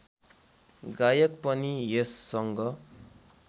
गायक पनि यससँग